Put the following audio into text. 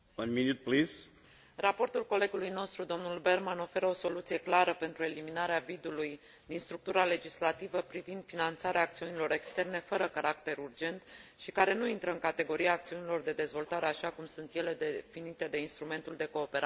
Raportul colegului nostru, dl Berman, oferă o soluție clară pentru eliminarea vidului din structura legislativă privind finanțarea acțiunilor externe fără caracter urgent și care nu intră în categoria acțiunilor de dezvoltare, așa cum sunt ele definite de instrumentul de cooperare pentru dezvoltare.